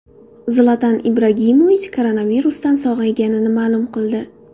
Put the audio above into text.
Zlatan Ibragimovich koronavirusdan sog‘ayganini ma’lum qildi.